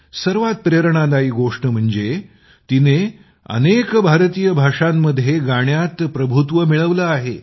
सर्वात प्रेरणादायी गोष्ट म्हणजे तिने अनेक भारतीय भाषांमध्ये गाण्यात प्रभुत्व मिळवले आहे